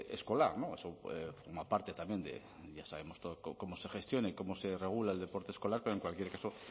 escolar eso forma parte también de ya sabemos todos cómo se gestiona y cómo se regula el deporte escolar pero en cualquier caso